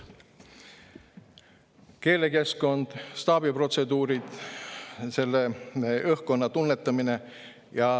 keelekeskkond, staabiprotseduurid ja üldse selle õhkkonna tunnetamine.